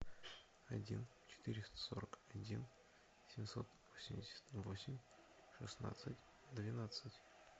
один четыреста сорок один семьсот восемьдесят восемь шестнадцать двенадцать